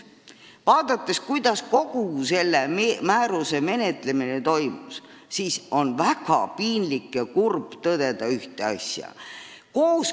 Vaadates kogu selle määruse ümber toimuvat, on väga piinlik ja kurb tõdeda ühte asja.